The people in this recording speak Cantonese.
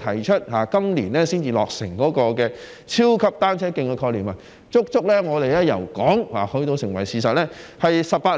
提出今年才落成的超級單車徑的概念，由我們提出到成為事實，足足用了18年。